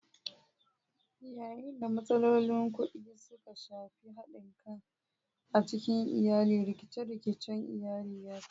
Yayin da matsalolin kuɗi suka shafi haɗin kai a cikin iyali, rikice-rikicen iyali ya taso.